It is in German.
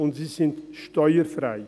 Und: Sie sind steuerfrei.